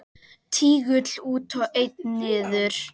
Tígull út og einn niður.